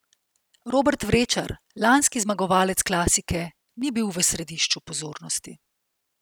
Robert Vrečer, lanski zmagovalec klasike, ni bil v središču pozornosti.